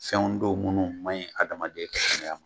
Fɛnw don minnu maɲi adamaden ka kɛnɛya ma.